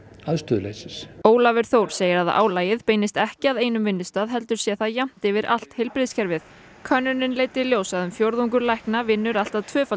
aðstöðuleysis Ólafur Þór segir að álagið beinist ekki að einum vinnustað heldur sé það jafnt yfir allt heilbrigðiskerfið könnunin leiddi í ljós að um fjórðungur lækna vinnur allt að tvöfalda